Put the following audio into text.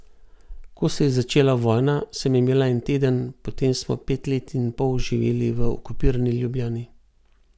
Ko se je začela vojna, sem imela en teden, potem smo pet let in pol živeli v okupirani Ljubljani.